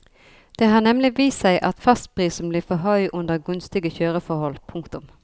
Det har nemlig vist seg at fastprisen blir for høy under gunstige kjøreforhold. punktum